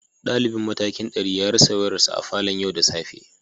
Dalibin matakin dari ya rasa wayarsa a falon yau da safe